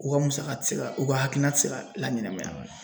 U ka musaka tɛ se ka u ka hakilina tɛ se ka laɲɛnamaya la